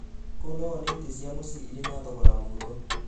Kũu no wone itĩ cia mũciĩ irĩ na thogora mũhũthũ.